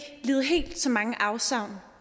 lide helt så mange afsavn